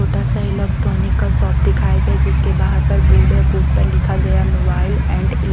छोटा सा इलेक्ट्रॉनिक का शॉप दिखाया गया जिसके बाहर पर बोर्ड है बोर्ड पर लिखा गया मोबाइल एंड इ --